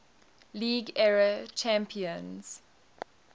league era champions